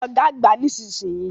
Kí Ọ̀gá àgbà nísinsìnyí!